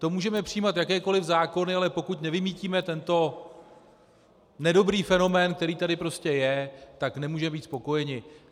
To můžeme přijímat jakékoliv zákony, ale pokud nevymýtíme tento nedobrý fenomén, který tady prostě je, tak nemůžeme být spokojeni.